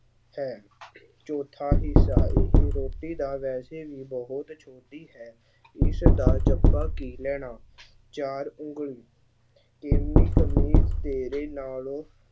ਹੈ ਚੌਥਾ ਹਿੱਸਾ, ਇਹ ਰੋਟੀ ਤਾਂ ਵੈਸੇ ਵੀ ਬਹੁਤ ਛੋਟੀ ਹੈ ਇਸਦਾ ਚੱਪਾ ਕੀ ਲੈਣਾ ਚਾਰ ਉਂਗਲ ਕਮੀਜ਼ ਤੇਰੇ ਨਾਲੋਂ